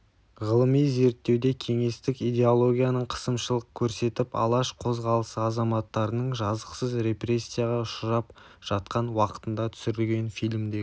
ғылыми зерттеуде кеңестік идеологияның қысымшылық көрсетіп алаш қозғалысы азаматтарының жазықсыз репрессияға ұшырап жатқан уақытында түсірілген фильмдегі